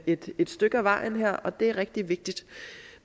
et stykke ad vejen her og det er rigtig vigtigt